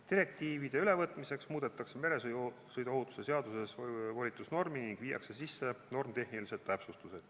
Direktiivide ülevõtmiseks muudetakse meresõiduohutuse seaduses volitusnormi ning viiakse sisse normitehnilised täpsustused.